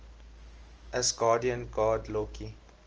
asgardian god loki